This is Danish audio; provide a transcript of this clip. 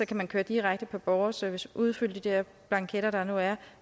kan man køre direkte på borgerservice og udfylde de der blanketter der nu er og